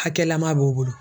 Hakɛlama b'o bolo.